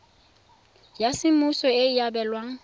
ya semmuso e e abelwang